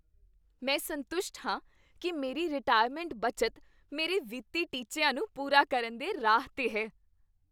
ਮੈਂ ਸੰਤੁਸ਼ਟ ਹਾਂ ਕੀ ਮੇਰੀ ਰਿਟਾਇਰਮੈਂਟ ਬੱਚਤ ਮੇਰੇ ਵਿੱਤੀ ਟੀਚਿਆਂ ਨੂੰ ਪੂਰਾ ਕਰਨ ਦੇ ਰਾਹ 'ਤੇ ਹੈ।